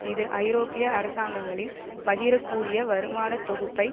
இது ஐரோப்பிய அரசாங்கங்களின் பகிரக் கூடிய வருமானத் தொகுப்பை